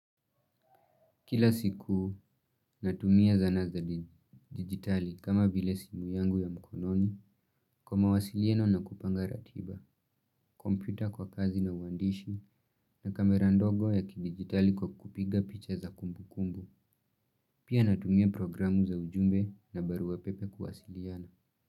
Kila siku natumia zana za dijitali kama vile simu yangu ya mkononi kwa mawasiliano na kupanga ratiba, komputa kwa kazi na uandishi na kamera ndogo ya kidigitali kwa kupiga picha za kumbukumbu. Pia natumia programu za ujumbe na barua pepe kuwasiliana.